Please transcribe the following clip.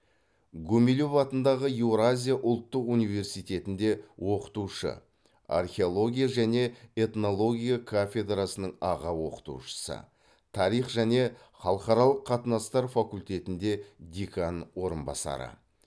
гумилев атындағы еуразия ұлттық университетінде оқытушы археология және этнология кафедрасының аға оқытушысы тарих және халықаралық қатынастар факультетінде декан орынбасары